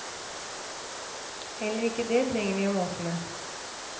Heller ikke det trenger vi å mase med.